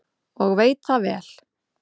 Og veit það vel.